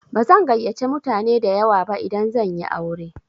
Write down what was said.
Bazan gayyace mutane dayawa ba idan zan yi aure.